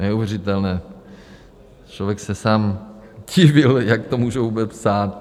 Neuvěřitelné, člověk se sám divil, jak to můžou vůbec psát.